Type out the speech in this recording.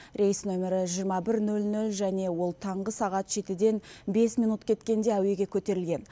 рейс нөмірі жиырма бір ноль ноль және ол таңғы сағат жетіден бес минут кеткенде әуеге көтерілген